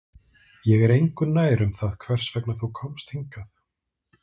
Ég er engu nær um það hvers vegna þú komst hingað